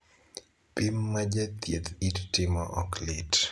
Pim ma jathieth it timo ok lit.